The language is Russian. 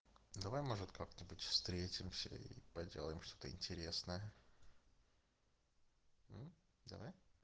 давай может как-нибудь встретимся и поделаем что-то интересное давай